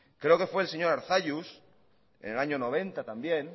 creo que fue el señor arzallus en el año mil novecientos noventa también